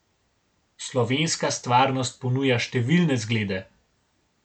Slovenska stvarnost ponuja številne zglede.